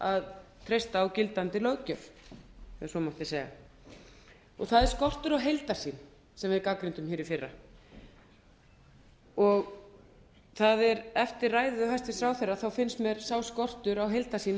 að treysta á gildandi löggjöf ef svo mátti segja það er skortur á heildarsýn sem við gagnrýndum í fyrra eftir ræðu hæstvirts ráðherra finnst mér sá skortur á heildarsýn